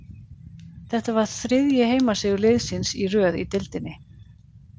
Þetta var þriðji heimasigur liðsins í röð í deildinni.